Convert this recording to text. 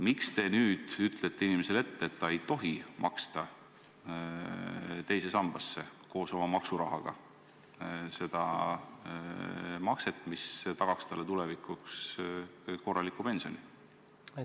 Miks te nüüd ütlete inimesele ette, et ta ei tohi maksta teise sambasse koos oma maksurahaga seda makset, mis tagaks talle tulevikuks korralikuma pensioni?